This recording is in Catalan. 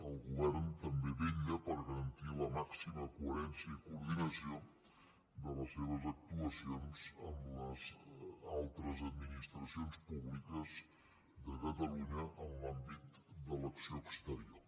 el govern també vetlla per garantir la màxima coherència i coordinació de les seves actuacions amb les altres administracions públiques de catalunya en l’àmbit de l’acció exterior